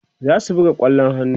zasu buga kwallon hannu